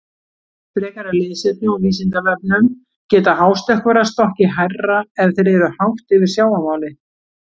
Frekara lesefni á Vísindavefnum: Geta hástökkvarar stokkið hærra ef þeir eru hátt yfir sjávarmáli?